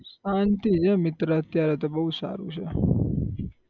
શાંતિ છે મિત્ર અત્યારે તો બહુ સારું છે